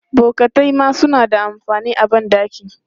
Bokatai ma suna da amfani a ban ɗaki.